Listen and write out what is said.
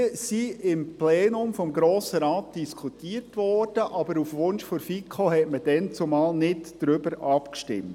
Sie wurden im Plenum des Grossen Rates diskutiert, aber auf Wunsch der FiKo stimmte man damals nicht darüber ab.